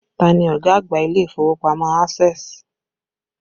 Ta ni ọ̀gá àgbà ilé ìfowópamọ́ Access?